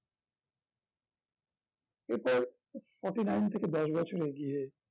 এটা forty-nine থেকে দশ বছর এগিয়ে